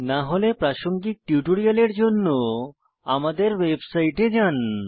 না হলে প্রাসঙ্গিক টিউটোরিয়ালের জন্য আমাদের ওয়েবসাইটে যান